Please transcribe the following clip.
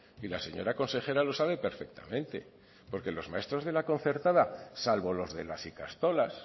y la señora consejera lo sabe perfectamente porque los maestros de la concertada salvo los de las ikastolas